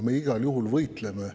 Me igal juhul võitleme.